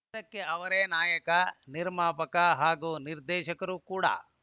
ಚಿತ್ರಕ್ಕೆ ಅವರೇ ನಾಯಕ ನಿರ್ಮಾಪಕ ಹಾಗೂ ನಿರ್ದೇಶಕರು ಕೂಡ